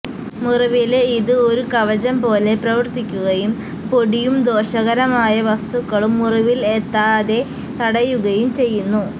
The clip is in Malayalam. മുറിവില് ഇത് ഒരു കവചം പോലെ പ്രവര്ത്തിക്കുകയും പൊടിയും ദോഷകരമായ വസ്തുക്കളും മുറിവില് എത്താതെ തടയുകയും ചെയ്യുന്നു